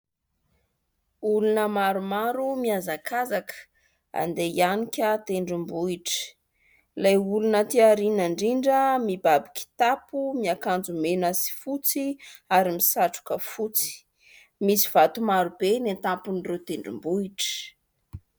Olona maromaro mihazakazaka, handeha hiahanika tendrombohitra. Ilay olona aty aoriana indrindra mibaby kitapo, miakanjo mena sy fotsy ary misatroka fotsy. Misy vato maro be eny an-tampon'ireo tendrombohitra.